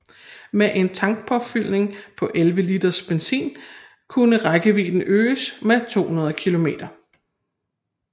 Med en tankpåfyldning på 11 liter benzin kunne rækkevidden øges til 200 km